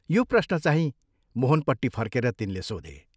यो प्रश्नचाहिं मोहनपट्टि फर्केर तिनले सोधे।